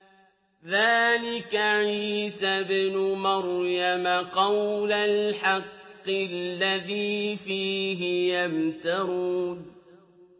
ذَٰلِكَ عِيسَى ابْنُ مَرْيَمَ ۚ قَوْلَ الْحَقِّ الَّذِي فِيهِ يَمْتَرُونَ